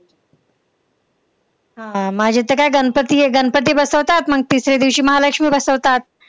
हा. माझी तर काय गणपती हे गणपती बसवतात मग तिसरे दिवशी महालक्ष्मी बसवतात.